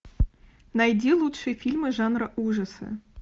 найди лучшие фильмы жанра ужасы